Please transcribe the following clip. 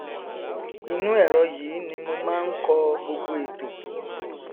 ìnú ẹrọ yìí ní mo máa ń kọ gbogbo ètò